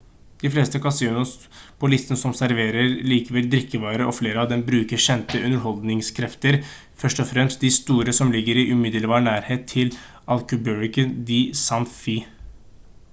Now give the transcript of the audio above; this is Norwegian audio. de fleste kasinoene på listen over serverer likevel drikkevarer og flere av dem bruker kjente underholdningskrefter først og fremst de store som ligger i umiddelbar nærhet til albuquerque og santa fe